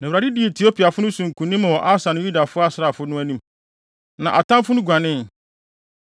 Na Awurade dii Etiopiafo no so nkonim wɔ Asa ne Yuda asraafodɔm no anim, na atamfo no guanee.